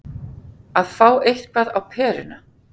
Að fá eitthvað á peruna